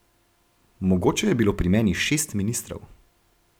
Mogoče je bilo pri meni šest ministrov.